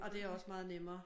Og det er også meget nemmere